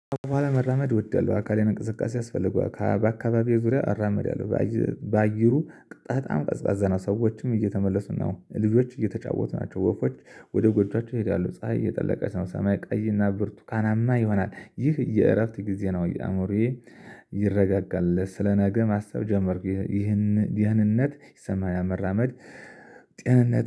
ኋላ መራመድ እወደለሁ አካልን እንቅስቃሴ ያስፈልገዋል በአካባቢው ዙሪያ አራምዳለው። በአየሩ በጣም ቀዝቃዛ ነው ሰዎችም እየተመለሱ ነው ልጆች እየተጫወቱ ናቸው። ወፎች ወደ ጎጆአቸው ይሄዳሉ። ፀሀይ እየጠለቀች ነው። ሰማይ ቀይና ብርቱካናማ ይሆናል። ይህ የእረፍት ጊዜ ነው። የአዕሞሮዬ ይረጋጋል ስለ ነገ ማሰብ ጀመርኩ። ይህን ደህንነት ይሰማኛል መራመድ። ጤንነት